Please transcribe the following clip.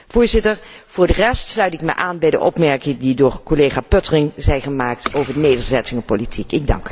Voorzitter, voor de rest sluit ik me aan bij de opmerking die door collega Pöttering zijn gemaakt over de nederzettingenpolitiek.